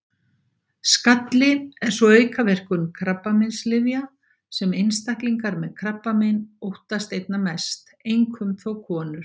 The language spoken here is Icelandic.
Skalli er sú aukaverkun krabbameinslyfja sem einstaklingar með krabbamein óttast einna mest, einkum þó konur.